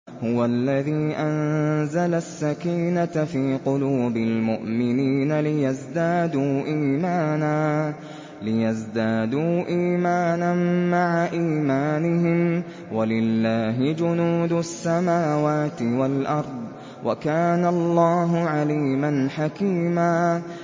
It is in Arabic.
هُوَ الَّذِي أَنزَلَ السَّكِينَةَ فِي قُلُوبِ الْمُؤْمِنِينَ لِيَزْدَادُوا إِيمَانًا مَّعَ إِيمَانِهِمْ ۗ وَلِلَّهِ جُنُودُ السَّمَاوَاتِ وَالْأَرْضِ ۚ وَكَانَ اللَّهُ عَلِيمًا حَكِيمًا